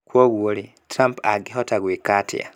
Kwoguo-rĩ, Trump angĩhota gwĩka atĩa?